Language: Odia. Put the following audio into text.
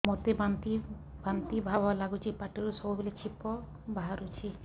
ମୋତେ ବାନ୍ତି ବାନ୍ତି ଭାବ ଲାଗୁଚି ପାଟିରୁ ସବୁ ବେଳେ ଛିପ ବାହାରୁଛି